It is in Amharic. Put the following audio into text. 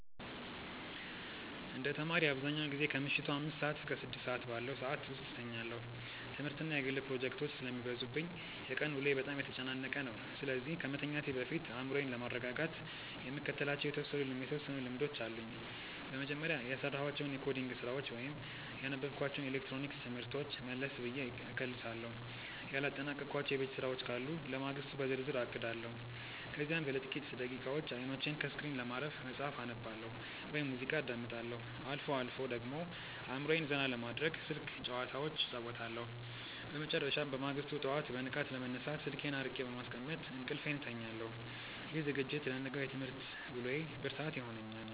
እንደ ተማሪ፣ አብዛኛውን ጊዜ ከምሽቱ አምስት እስከ ስድስት ባለው ሰዓት ውስጥ እተኛለሁ። ትምህርትና የግል ፕሮጀክቶች ስለሚበዙብኝ የቀን ውሎዬ በጣም የተጨናነቀ ነው፤ ስለዚህ ከመተኛቴ በፊት አእምሮዬን ለማረጋጋት የምከተላቸው የተወሰኑ ልምዶች አሉኝ። በመጀመሪያ፣ የሰራኋቸውን የኮዲንግ ስራዎች ወይም ያነበብኳቸውን የኤሌክትሮኒክስ ትምህርቶች መለስ ብዬ እከልሳለሁ። ያላጠናቀቅኳቸው የቤት ስራዎች ካሉ ለማግስቱ በዝርዝር አቅዳለሁ። ከዚያም ለጥቂት ደቂቃዎች አይኖቼን ከስክሪን ለማረፍ መጽሐፍ አነባለሁ ወይም ሙዚቃ አዳምጣለሁ። አልፎ አልፎ ደግሞ አእምሮዬን ዘና ለማድረግ ስልክ ጭዋታዎች እጫወታለሁ። በመጨረሻም፣ በማግስቱ ጠዋት በንቃት ለመነሳት ስልኬን አርቄ በማስቀመጥ እንቅልፌን እተኛለሁ። ይህ ዝግጅት ለነገው የትምህርት ውሎዬ ብርታት ይሆነኛል።